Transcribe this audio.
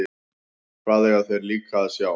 Hvað eiga þeir líka að sjá?